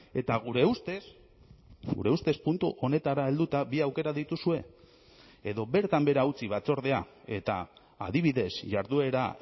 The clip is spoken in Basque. eta gure ustez gure ustez puntu honetara helduta bi aukera dituzue edo bertan behera utzi batzordea eta adibidez jarduera